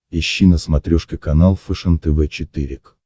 ищи на смотрешке канал фэшен тв четыре к